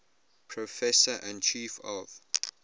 professor and chief of